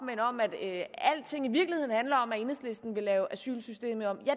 om at alting i virkeligheden handler om at enhedslisten vil lave asylsystemet om det